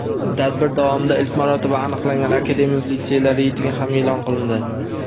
Tadbir davomida ilk marotaba aniqlangan akademik litseylar reytingi ham eʼlon qilindi.